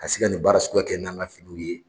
Ka se ka nin baara suguya kɛ n'an ka finiw ye.